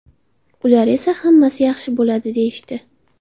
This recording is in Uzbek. Ular esa ‘hammasi yaxshi bo‘ladi’ deyishdi.